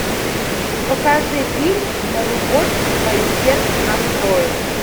покажи фильм на любовь свое сердце настрою